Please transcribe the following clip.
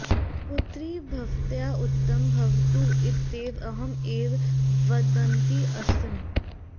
पुत्रि भवत्याः उत्तमं भवतु इत्येव अहम् एवं वदन्ती अस्मि